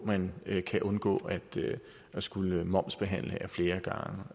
man kan undgå at skulle momsbehandle ad flere